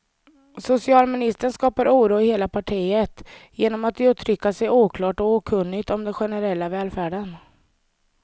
Socialministern skapar oro i hela partiet genom att uttrycka sig oklart och okunnigt om den generella välfärden.